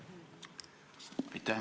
Aitäh!